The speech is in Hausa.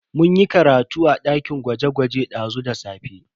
Mun yi karatu a dakin gwaje-gwaje dazu da safe.